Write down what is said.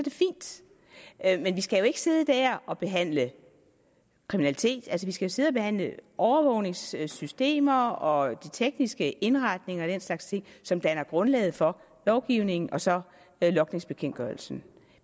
er men vi skal jo ikke sidde der og behandle kriminalitet vi skal sidde og behandle overvågningssystemer og de tekniske indretninger og den slags ting som danner grundlaget for lovgivningen og så logningsbekendtgørelsen